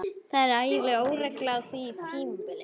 Það var ægileg óregla á því tímabili.